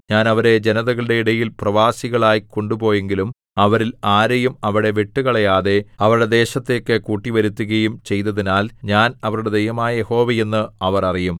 ഞാൻ അവരെ ജനതകളുടെ ഇടയിൽ പ്രവാസികളായി കൊണ്ടുപോയെങ്കിലും അവരിൽ ആരെയും അവിടെ വിട്ടുകളയാതെ അവരുടെ ദേശത്തേക്ക് കൂട്ടിവരുത്തുകയും ചെയ്തതിനാൽ ഞാൻ അവരുടെ ദൈവമായ യഹോവ എന്ന് അവർ അറിയും